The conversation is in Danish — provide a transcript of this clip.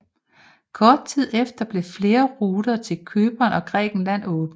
Kort tid efter blev flere ruter til Cypern og Grækenland åbnet